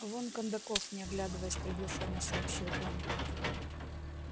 вон кондаков не оглядываясь приглушённо сообщил он